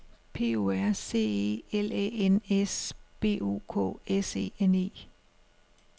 P O R C E L Æ N S B O K S E N E